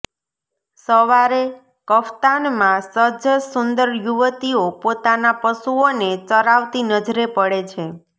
સવારે કફ્તાનમાં સજ્જ સુંદર યુવતીઓ પોતાના પશુઓને ચરાવતી નજરે પડે છે